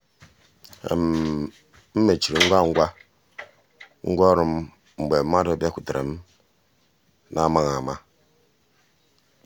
m mechiri ngwa ngwa ngwa ọrụ m mgbe mmadụ bịakwutere m n’amaghị ama.